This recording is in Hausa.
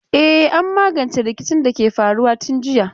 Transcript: E, an magance rikicin da ke faruwa tun jiya.